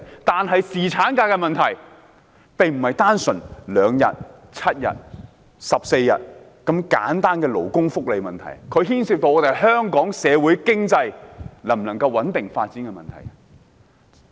但是，侍產假並不單純是2天、7天、14天的勞工福利問題，而是牽涉到香港社會經濟能否穩定發展的問題。